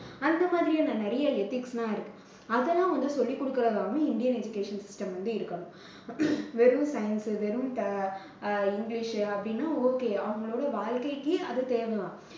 அந்த மாதிரியான நிறைய ethics லாம் இருக்கு. அதெல்லாம் வந்து சொல்லிக்கொடுக்குறதாவும் இந்தியன் education system வந்து இருக்கணும். வெறும் science வெறும் அஹ் இங்கிலிஷ் அப்படின்னா okay அவங்களோட வாழ்க்கைக்கு அது தேவைதான்